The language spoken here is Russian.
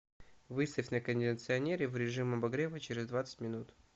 выставь на кондиционере в режим обогрева через двадцать минут